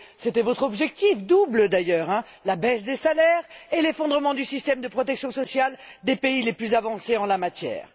Mais c'était votre objectif, double, d'ailleurs la baisse des salaires et l'effondrement du système de protection sociale des pays les plus avancés en la matière.